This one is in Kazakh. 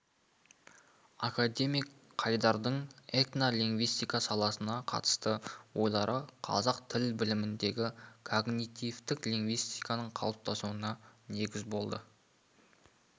академик қайдардың этнолингвистика саласына қатысты ойлары қазақ тіл біліміндегі когнитивтік лингвистиканың қалыптасуына негіз болды